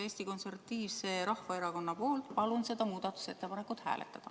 Eesti Konservatiivse Rahvaerakonna nimel palun seda muudatusettepanekut hääletada.